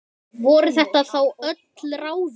Voru þetta þá öll ráðin?